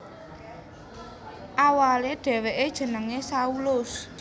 Awalé dhèwèké jenengé Saulus